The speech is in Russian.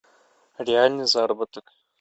реальный заработок